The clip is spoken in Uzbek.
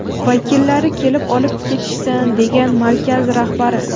Vakillari kelib olib ketishsin”, degan markaz rahbari.